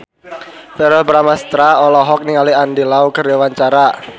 Verrell Bramastra olohok ningali Andy Lau keur diwawancara